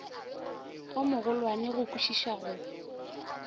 o mogolwane go kwišiša go